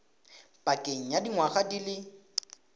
pakeng ya dingwaga di le